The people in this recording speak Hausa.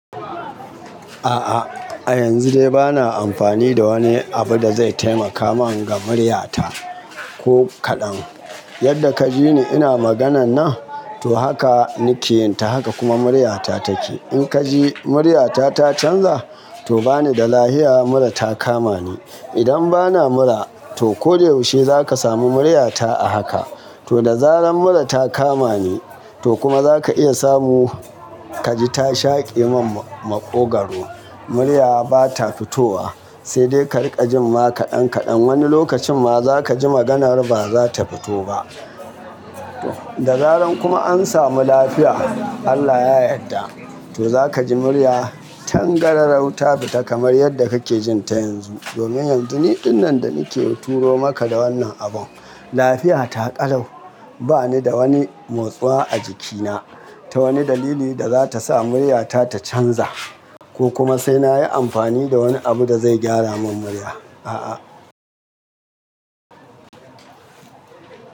A'a, a yanzu dai bana amfani da wani abu da zai taimaka mun ga muryata ko kaɗan. Yadda ka ji ni ina maganan nan, to haka nake yin ta, haka kuma muryata take. In ka ji muryata ta canza, to bani da lafiya, mura ta kama ni. Idan bana mura, to ko da yaushe za ka sami muryata a haka. To da zaran mura ta kama ni, to kuma za ka iya samu ka ji ta shaƙe min maƙogwaro. Murya ba ta fitowa, sai dai ka riƙa jin ma kaɗan -kaɗan. Wani lokacin ma za ka ji maganar ba za ta fito ba. Da zaran kuma an samu lafiya, Allah ya yadda, to za ka ji murya tangararau ta fita kamar yadda kake jin ta yanzu. Domin yanzu ni dinnan da nake turo maka da wannan abun, lafiya ta ƙalau. Ba ni da wani motsuwa a jikina ta wani dalili da za ta sa muryata ta canza, ko kuma sai na yi amfani da wani abu da zai gyara mun murya. A'a.